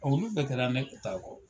Olu bɛɛ kɛra ne ta kɔ.